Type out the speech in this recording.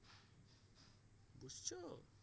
বুসছো